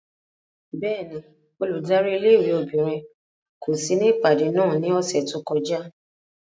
Bẹ́ẹ̀ni, óludari ìlé-ìwé obinrin ko si ni ipade náa ni ọsẹ to kọja.